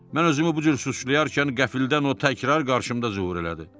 Mən özümü bu cür suçlayarkən qəfildən o təkrar qarşıma zühur elədi.